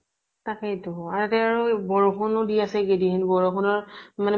তাকেই টো, আৰু ইয়াতে আৰু বৰষুনো দি আছে একেইদিন। বৰষুনৰ মানে